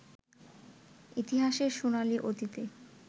ইতিহাসের সোনালি অতীতে